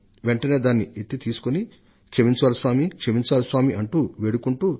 మనం దానిని వెంటనే ఏరుకోవడంతో పాటు దైవం క్షమను కోరుతూ అయిదు సార్లు ప్రార్థిస్తాం